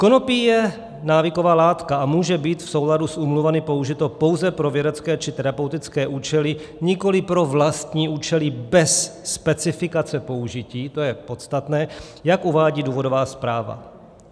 Konopí je návyková látka a může být v souladu s úmluvami použito pouze pro vědecké či terapeutické účely, nikoli pro vlastní účely bez specifikace použití - to je podstatné - jak uvádí důvodová zpráva.